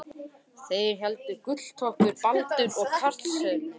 Þeir hétu Gulltoppur, Baldur og Karlsefni.